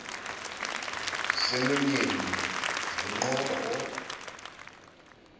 semlonyeni ndiyiqoba koba